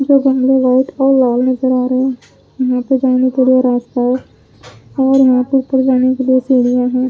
White और लाल नजर आ रहे हैं यहां पे जाने के लिए रास्ता है और यहां पे ऊपर जाने के लिए सीढ़ियां हैं।